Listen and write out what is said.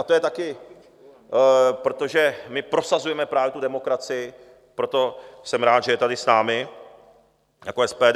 A to je také, protože my prosazujeme právě tu demokracii, proto jsem rád, že je tady s námi, jako SPD.